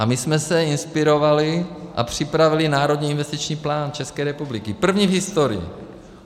A my jsme se inspirovali a připravili Národní investiční plán České republiky, první v historii.